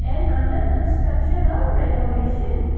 An under construction or renovation.